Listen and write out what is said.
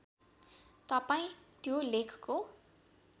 तपाईँ त्यो लेखको